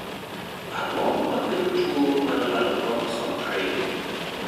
Ang'o makelo tuwo mar lalo kromosom ariyo?